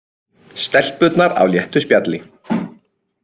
Stelpurnar á léttu spjalli